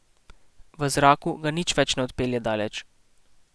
V zraku ga nič več ne odpelje daleč.